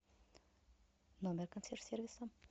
номер консьерж сервиса